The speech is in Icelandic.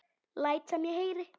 Læt sem ég heyri.